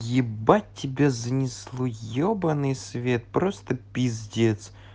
ебать тебя занесло ёбанный свет просто пиздец